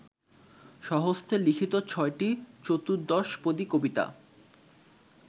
স্বহস্তে লিখিত ছয়টি চতুর্দশপদী কবিতা